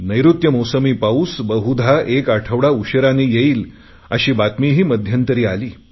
नैऋत्य मौसमी पाऊस बहुधा एक आठवडा उशीराने येईल अशी बातमीही मध्यंतरी आली